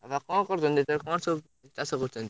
ବାପା କଣ କରୁଛନ୍ତି ଏଇଥର କଣ ସବୁ କଣ ଚାଷ କରିଛନ୍ତି?